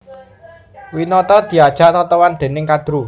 Winata diajak totohan dèning Kadru